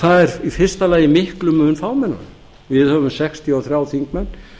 það er í fyrsta lagi miklum mun fámennara við höfum sextíu og þrír þingmenn